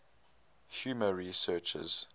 humor researchers